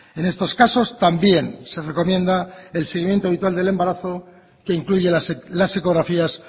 en estos casos también se recomienda el seguimiento habitual del embarazo que incluye las ecografías